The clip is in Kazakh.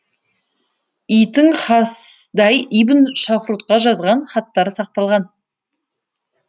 и тың хэсдай ибн шафрутқа жазған хаттары сақталған